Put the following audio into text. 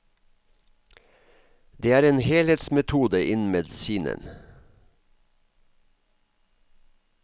Det er en helhetsmetode innen medisinen.